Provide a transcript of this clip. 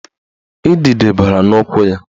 Idide bara n'ụkwụ ya